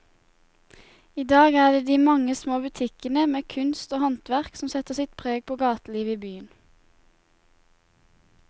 I dag er det de mange små butikkene med kunst og håndverk som setter sitt preg på gatelivet i byen.